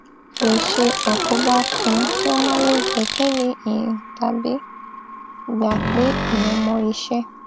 lè ṣe àkóbá fún kí wọn má le gbẹkẹlé èèyàn tàbí gbà pé èèyàn mọ iṣẹ